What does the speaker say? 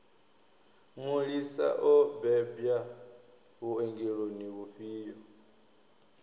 mulisa o bebwa vhuongeloni vhufhio